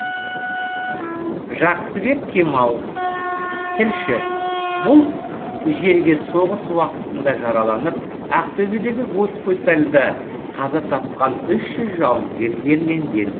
жақсыбек кемал тілші бұл жерге соғыс уақытында жараланып ақтөбедегі госпитальда қаза тапқан үш жүз жауынгер жерленген